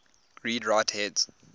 read write heads